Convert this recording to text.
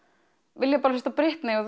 vilja bara hlusta á